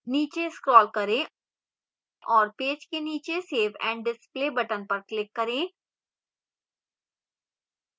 नीचे scroll करें और पेज के नीचे save and display button पर click करें